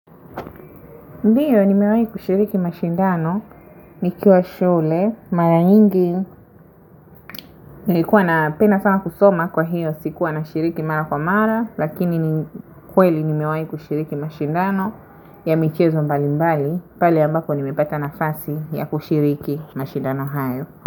Ndiyo nimewahi kushiriki mashindano nikiwa shule, mara nyingi. Nilikuwa napenda sana kusoma kwa hiyo, sikuwa na shiriki mara kwa mara, lakini kweli nimewahi kushiriki mashindano ya michezo mbali mbali, pale ambapo nimepata nafasi ya kushiriki mashindano hayo.